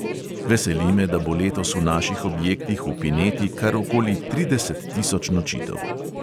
Veseli me, da bo letos v naših objektih v pineti kar okoli trideset tisoč nočitev.